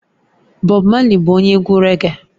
Bob marley bụ onye egwu raggae